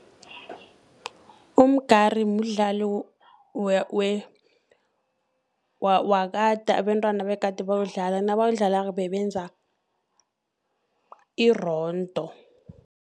Umgari mdlalo wakade abentwana begade bawudlala, nabawudlalako bebenza irondo.